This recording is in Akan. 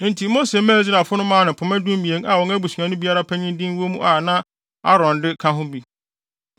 Enti Mose maa Israelfo no maa no pema dumien a wɔn abusua no biara panyin de wɔ mu a na Aaron ka de ka ho bi.